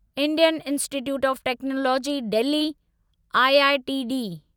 Indian institute of technology Delhi IITD